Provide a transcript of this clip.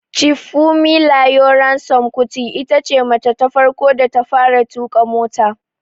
Chief Fumilayo Ransome Kuti itace mace ta farko da ta fara tuƙa mota